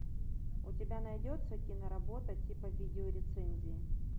у тебя найдется киноработа типа видеорецензии